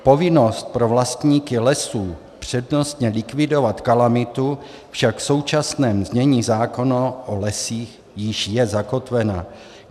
Povinnost pro vlastníky lesů přednostně likvidovat kalamitu však v současném znění zákona o lesích již je zakotvena.